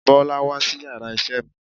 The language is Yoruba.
Bọ́lá wá sí yàrá isé mi